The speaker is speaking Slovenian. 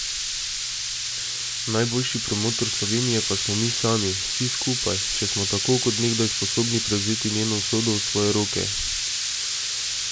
Najboljši promotor Slovenije pa smo mi sami, vsi skupaj, če smo tako kot nekdaj sposobni prevzeti njeno usodo v svoje roke.